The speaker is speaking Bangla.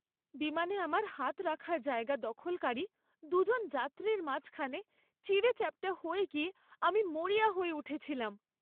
বিমানে আমার হাত রাখার জায়গা দখলকারী দু'জন যাত্রীর মাঝখানে চিঁড়েচ্যাপ্টা হয়ে গিয়ে আমি মরিয়া হয়ে উঠেছিলাম।